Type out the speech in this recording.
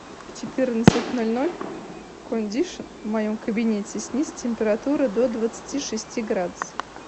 в четырнадцать ноль ноль кондишн в моем кабинете снизь температуру до двадцати шести градусов